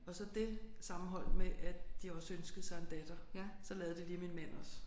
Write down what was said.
Og så det sammenholdt med at de også ønskede sig en datter så lavede de lige min mand også